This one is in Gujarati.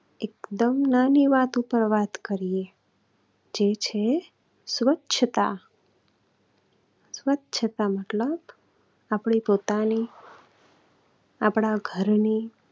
એકદમ નાની વાત ઉપર વાત કરીએ જે છે સ્વચ્છતા. સ્વચ્છતા મતલબ આપની પોતાની, આપણા ઘરની